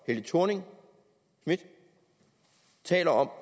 helle thorning schmidt taler om